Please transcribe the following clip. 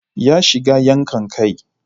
Ya shiga yankan kai.